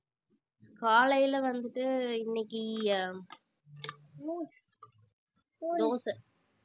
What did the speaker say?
காலையில வந்துட்டு இன்னைக்கு தோசை